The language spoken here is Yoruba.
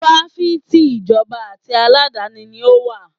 Fáfitì ìjọba àti aládàáni ni ó wà.